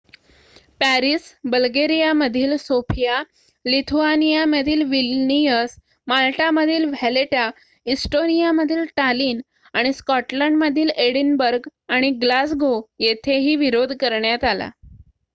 Paris बल्गेरियामधील Sofia लिथुआनियामधील Vilnius माल्टामधील व्हॅलेटा इस्टोनियामधील टालिन आणि स्कॉटलंडमधील एडिनबर्ग आणि ग्लासगो येथेही विरोध करण्यात आला